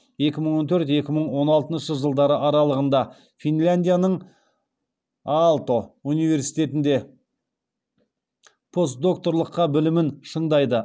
екі мың он төрт екі мың он алтыншы жылдары аралығында финляндияның аалто университетінде постдокторлыққа білімін шыңдайды